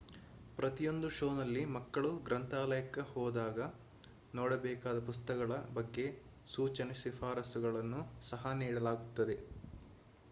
ಪ್ರತಿಯೊಂದು ಶೋನಲ್ಲಿ ಮಕ್ಕಳು ಗ್ರಂಥಾಲಯಕ್ಕೆ ಹೋದಾಗ ನೋಡಬೇಕಾದ ಪುಸ್ತಕಗಳ ಬಗ್ಗೆ ಸೂಚನೆ ಶಿಫಾರಸ್ಸುಗಳನ್ನು ಸಹ ನೀಡಲಾಗುತ್ತದೆ